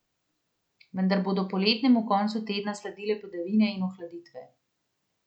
Vendar bodo poletnemu koncu tedna sledile padavine in ohladitve.